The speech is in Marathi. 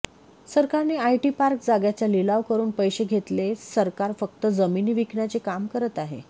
सरकारने आयटी पार्क जाग्याचा लिलाव करुन पैसे घेतले सरकार फक्त जमिनी विकण्याचे काम करत आहे